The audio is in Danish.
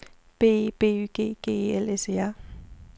B E B Y G G E L S E R